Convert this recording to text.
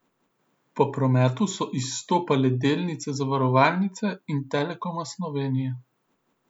Po prometu so izstopale delnice zavarovalnice in Telekoma Slovenije.